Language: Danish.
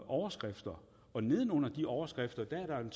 overskrifter og neden under de overskrifter